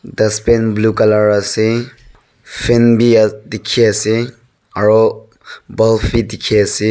dustbin blue colour ase fan be aa dikhi ase aru bulb be dikhi ase.